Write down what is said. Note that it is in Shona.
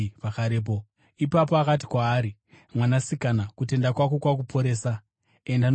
Ipapo akati kwaari, “Mwanasikana, kutenda kwako kwakuporesa. Enda norugare.”